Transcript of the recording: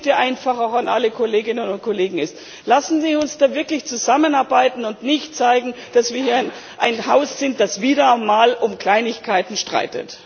Meine Bitte an alle Kolleginnen und Kollegen ist Lassen Sie uns da wirklich zusammenarbeiten und nicht zeigen, dass wir hier ein Haus sind, das wieder einmal um Kleinigkeiten streitet.